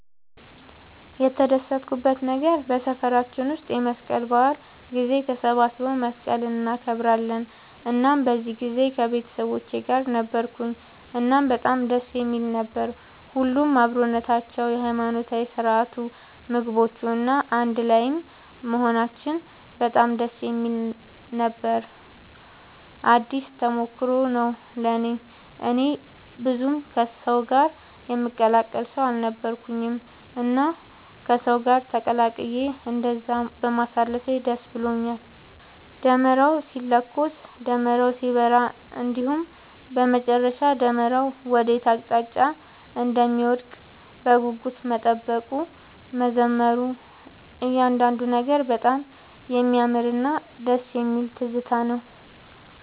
የተደሰትኩበት ነገር በሰፈራችን ውስጥ የመስቀል በዓል ጊዜ ተሰባስበው መስቀልን እናከብራለን እናም በዚህ ጊዜ ከቤተሰቦቼ ጋር ነበርኩኝ እናም በጣም ደስ የሚል ነበር። ሁሉም አብሮነታቸው፣ የሃይማኖታዊ ስርዓቱ፣ ምግቦቹ፣ እና አንድ ላይም መሆናችን በጣም ደስ የሚል ነበር ነው። አዲስ ተሞክሮም ነው ለእኔ። እኔ ብዙም ከሰው ጋር የምቀላቀል ሰው አልነበርኩኝም እና ከሰው ጋር ተቀላቅዬ እንደዛ በማሳለፌ ደስ ብሎኛል። ደመራው ሲለኮስ፣ ደመራው ሲበራ እንዲሁም በመጨረሻ ደመራው ወዴት አቅጣጫ እንደሚወድቅ በጉጉት መጠበቁ፣ መዘመሩ እያንዳንዱ ነገር በጣም የሚያምርና ደስ የሚል ትዝታ ነው።